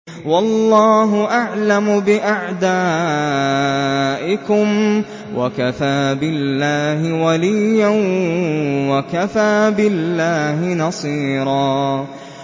وَاللَّهُ أَعْلَمُ بِأَعْدَائِكُمْ ۚ وَكَفَىٰ بِاللَّهِ وَلِيًّا وَكَفَىٰ بِاللَّهِ نَصِيرًا